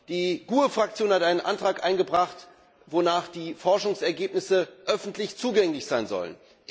Die GUE NGL Fraktion hat einen Antrag eingebracht, wonach die Forschungsergebnisse öffentlich zugänglich sein sollen.